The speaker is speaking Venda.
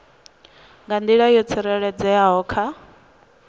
nga nḓila yo tsireledzeaho kha